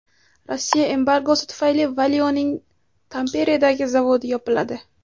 Rossiya embargosi tufayli Valio‘ning Tamperedagi zavodi yopiladi.